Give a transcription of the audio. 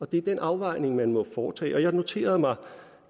det er den afvejning man må foretage sig jeg noterede mig